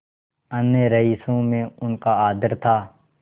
अन्य रईसों में उनका आदर था